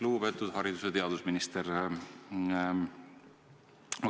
Lugupeetud haridus- ja teadusminister!